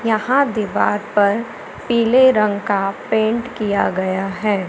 यहां दीवार पर पीले रंग का पेंट किया गया है।